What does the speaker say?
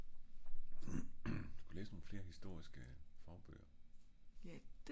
du sku læse nogle flere historiske fagbøger